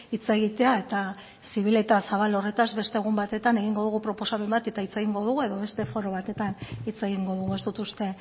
hitz egitea eta zibil eta zabal horretaz beste egun batetan egingo dugu proposamen bat eta hitz egingo dugu edo beste foro batetan hitz egingo dugu ez dut uste